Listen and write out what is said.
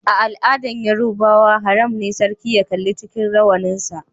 A'aladan Yorubawa, haram ne sarki ya kalla cikin rawanin sa.